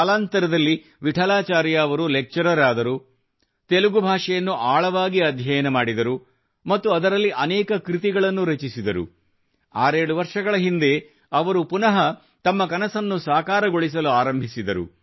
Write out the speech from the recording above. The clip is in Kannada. ಕಾಲಾಂತರದಲ್ಲಿ ವಿಠಲಾಚಾರ್ಯ ಅವರು ಲೆಕ್ಚರರ್ ಆದರು ತೆಲುಗು ಭಾಷೆಯನ್ನು ಆಳವಾಗಿ ಅಧ್ಯಯನ ಮಾಡಿದರು ಮತ್ತು ಅದರಲ್ಲಿ ಅನೇಕ ಕೃತಿಗಳನ್ನು ರಚಿಸಿದರು 67 ವರ್ಷಗಳ ಹಿಂದೆ ಅವರು ಪುನಃ ತಮ್ಮ ಕನಸನ್ನು ಸಾಕಾರಗೊಳಿಸಲು ಆರಂಭಿಸಿದರು